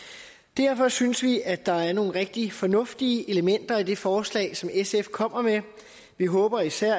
derfor synes vi at der er nogle rigtig fornuftige elementer i det forslag som sf kommer med vi håber især